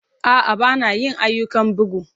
A'a, ba na yin ayyukan bugu.